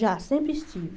Já, sempre estive.